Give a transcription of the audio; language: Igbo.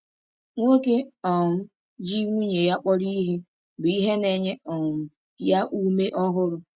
Nwoke um ji nwunye ya kpọrọ ihe bụ ihe na-enye um ya ume ọhụrụ.